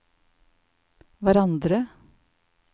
hverandre